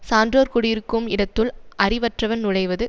சான்றோர் கூடியிருக்கும் இடத்துள் அறிவற்றவன் நுழைவது